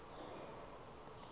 apha evekini aze